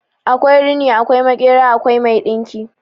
Akwai rini, akwai makera, akwai mai dinki